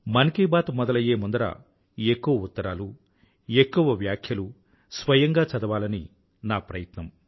మన్ కీ బాత్ మొదలయ్యే ముందర ఎక్కువ ఉత్తరాలు ఎక్కువ వ్యాఖ్యలు స్వయంగా చదవాలని నా ప్రయత్నం